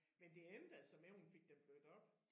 Men det endte altså med hun fik dem blødt op